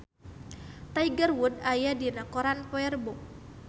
Tiger Wood aya dina koran poe Rebo